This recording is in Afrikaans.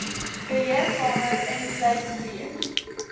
beheerkamer insluit reeds